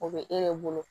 O bɛ e de bolo